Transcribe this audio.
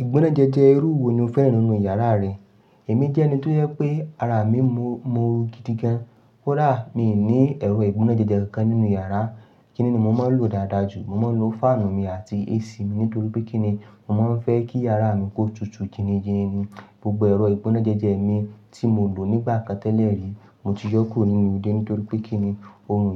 Ìgbónájẹjẹ irú wo ni o fẹ́ran nínú yàrá rẹ? Èmi jẹ́ ẹni tó yẹ pé ara mi mọ́ ooru gidigan. Koda, mi ní ẹ̀rọ ìgbónájẹjẹ kankan nínú yàrá. Kíni ni mo máa ń lò dáadáa jù, mo máa ń lo fáànù mi àti AC mi nítorí pé kí ni, mo máa ń fẹ́ kí yàrá mi kó tutù gini gini ni. Gbogbo ẹ̀rọ ìgbónájẹjẹ mi tí mo lò nígbà kan tẹ́lẹ̀ rí, mo ti yọ́ kúrò nínú ilé nítorí pé kí ni, ooru